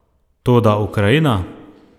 Toda Ukrajina?